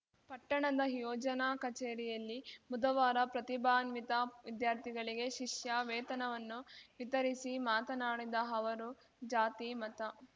ಪಟ್ಟಣದ ಯೋಜನಾ ಕಚೇರಿಯಲ್ಲಿ ಬುಧವಾರ ಪ್ರತಿಭಾನ್ವಿತ ವಿದ್ಯಾರ್ಥಿಗಳಿಗೆ ಶಿಷ್ಯ ವೇತನವನ್ನು ವಿತರಿಸಿ ಮಾತನಾಡಿದ ಅವರು ಜಾತಿ ಮತ